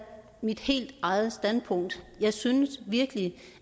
mit helt eget standpunkt jeg synes virkelig